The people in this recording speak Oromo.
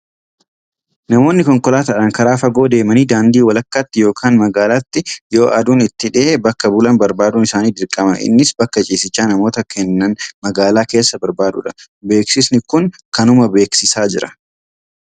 Namoonni konkolaataadhaan karaa fagoo deemanii daandii walakkaatti yookaan magaalaatti yoo aduun itti dhihe bakka bulan barbaaduun isaanii dirqama. Innis bakka ciisichaa namoota kennan magaalaa keessaa barbaaduudha. Beeksisni kun kanuma beeksisaa jira.